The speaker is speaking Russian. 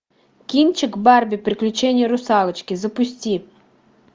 кинчик барби приключения русалочки запусти